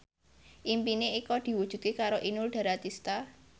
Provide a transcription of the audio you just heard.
impine Eko diwujudke karo Inul Daratista